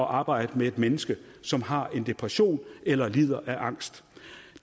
arbejde med et menneske som har en depression eller lider af angst